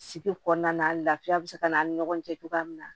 Si kɔnɔna na lafiya be se ka na an ni ɲɔgɔn cɛ cogoya min na